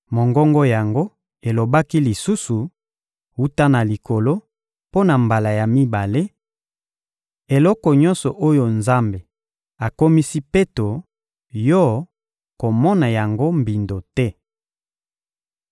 Mongongo yango elobaki lisusu, wuta na likolo, mpo na mbala ya mibale: «Eloko nyonso oyo Nzambe akomisi peto, yo, komona yango mbindo te!»